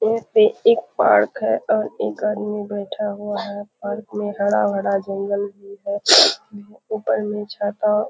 यह एक पार्क है और एक आदमी बैठा हुआ है। पार्क में हरा-भरा जंगल भी है। ऊपर में छाता अ --